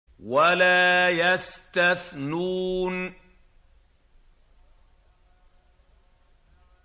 وَلَا يَسْتَثْنُونَ